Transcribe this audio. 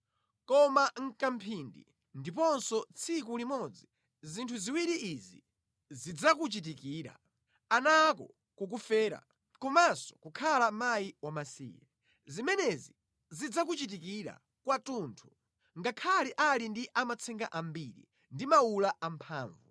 Koma mʼkamphindi, ndiponso tsiku limodzi, zinthu ziwiri izi zidzakuchitikira: ana ako kukufera komanso kukhala mkazi wamasiye. Zimenezi zidzakuchitikira kwathunthu ngakhale ali ndi amatsenga ambiri ndi mawula amphamvu.